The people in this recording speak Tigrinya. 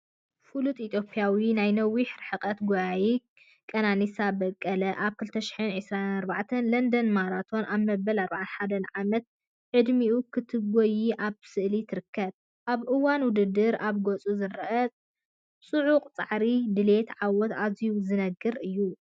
ፍሉጥ ኢትዮጵያዊት ናይ ነዊሕ ርሕቀት ጎያዪት ከነኒሳ በቀለ ኣብ 2024 ለንደን ማራቶን ኣብ መበል 41 ዓመት ዕድሚኣ ክትጎዪ ኣብ ስእሊ ትርከብ። ኣብ እዋን ውድድር ኣብ ገጹ ዝረአ ጽዑቕ ጻዕርን ድሌት ዓወትን ኣዝዩ ዝነግር እዩ።